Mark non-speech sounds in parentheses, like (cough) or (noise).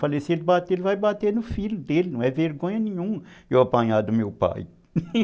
Falei, se ele bater, ele vai bater no filho dele, não é vergonha nenhuma eu apanhar do meu pai (laughs)